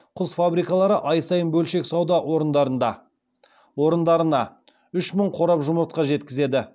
құс фабрикалары ай сайын бөлшек сауда орындарына үш мың қорап жұмыртқа жеткізеді